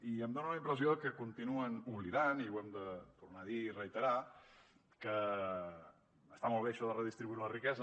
i em dona la impressió que continuen oblidant i ho hem de tornar a dir i reiterar que està molt bé això de redistribuir la riquesa